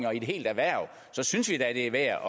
og i et helt erhverv så synes vi da det er værd